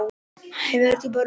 Hann hefur djúpa rödd.